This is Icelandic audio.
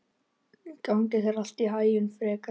Gangi þér allt í haginn, Fregn.